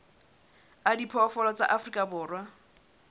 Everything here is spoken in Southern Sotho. a diphoofolo tsa afrika borwa